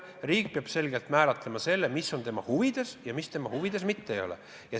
Riik peab selgelt määratlema, mis on tema huvides ja mis tema huvides mitte ei ole.